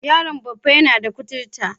Yaron Baffa yana da kuturta.